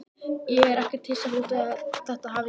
Ég er ekkert hissa þótt þetta hafi gerst.